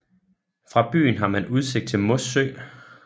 Fra byen har man udsigt til Mossø